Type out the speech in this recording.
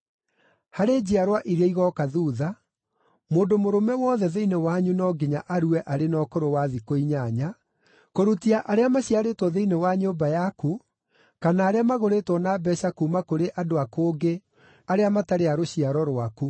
Harĩ njiarwa iria igooka thuutha, mũndũ mũrũme wothe thĩinĩ wanyu no nginya arue arĩ na ũkũrũ wa thikũ inyanya, kũrutia arĩa maciarĩtwo thĩinĩ wa nyũmba yaku kana arĩa magũrĩtwo na mbeeca kuuma kũrĩ andũ a kũngĩ-arĩa matarĩ a rũciaro rwaku.